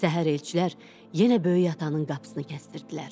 Səhər elçilər yenə Böyük atanın qapısını kəsdirdilər.